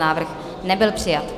Návrh nebyl přijat.